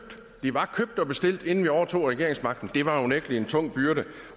de var købt og bestilt inden vi overtog regeringsmagten og det var unægtelig en tung byrde